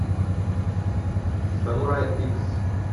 самурай икс